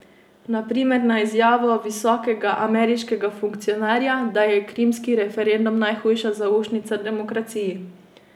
Na primer na izjavo visokega ameriškega funkcionarja, da je krimski referendum najhujša zaušnica demokraciji.